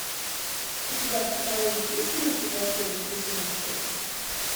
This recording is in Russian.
у тебя в каталоге есть мультик волшебники сезон шесть